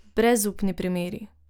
Brezupni primeri.